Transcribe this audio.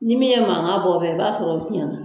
Ni min ye mankan bɔ bɛ, i b'a sɔrɔ o fiɲɛna.